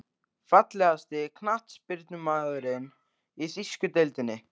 Fallegasti knattspyrnumaðurinn í þýsku deildinni?